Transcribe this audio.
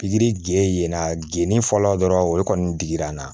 Pikiri gere yen yen na geni fɔlɔ dɔrɔn o de kɔni digira n na